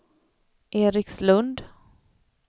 Erikslund